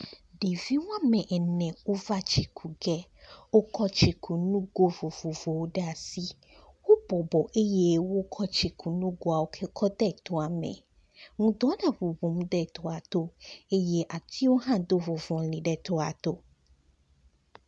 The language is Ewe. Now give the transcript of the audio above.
Ɖevi woamene wova tsi ge. Wokɔ tsikunu ŋgo vovovowo ɖe asi. Wobɔbɔ eye wokɔ tsikunuŋgowo kɔ de tɔa me. Ŋdɔ gaŋuŋum ɖe tɔa to eye atsiwo hã do ŋɔ̃ŋɔ̃li ɖe tɔa to